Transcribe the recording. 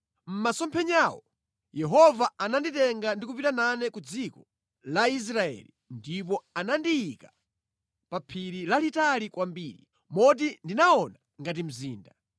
Mʼmasomphenyawo Yehova ananditenga ndi kupita nane ku dziko la Israeli ndipo anandiyika pa phiri lalitali kwambiri, moti ndinaona ngati mzinda.